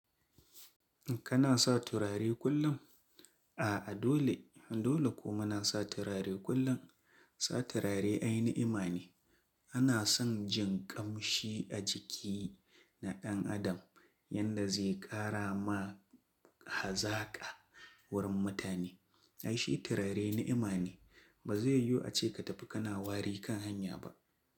Kana sa turare kullum? A'a dole, dole kuma na sa turare kullum. Sa turare aini ima ne. Ana son jin kamshi a jiki na ɗan adam yanda zai ƙara ma hazaka wurin mutane. Ai shi turare ni'ima ne. Ba zai yiwu ace ka tafi kana wari kan hanya ba.